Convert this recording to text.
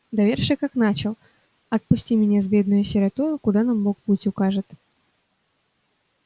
доверши как начал отпусти меня с бедною сиротою куда нам бог путь укажет